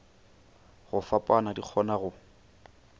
go fapana di kgona go